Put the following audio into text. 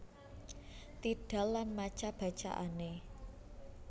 tidal lan maca bacaane